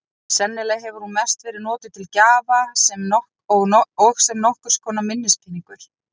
Sennilega hefur hún mest verið notuð til gjafa og sem nokkurs konar minnispeningur.